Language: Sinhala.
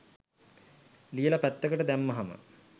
ලියල පැත්තකට දැම්මහම.